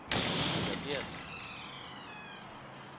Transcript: Eva Geertsen